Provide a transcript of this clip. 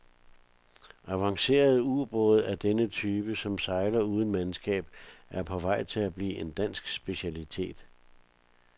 Avancerede ubåde af denne type, som sejler uden mandskab, er på vej til at blive en dansk specialitet.